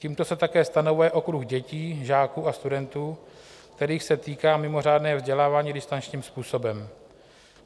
Tímto se také stanovuje okruh dětí, žáků a studentů, kterých se týká mimořádné vzdělávání distančním způsobem.